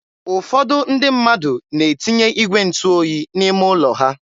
ụfọdụ ndị mmadụ na-etinye igwe ntụ oyi n'ime ụlọ ha.